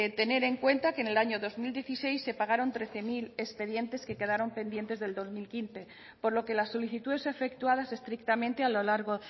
tener en cuenta que en el año dos mil dieciséis se pagaron trece mil expedientes que quedaron pendientes del dos mil quince por lo que las solicitudes efectuadas estrictamente a lo largo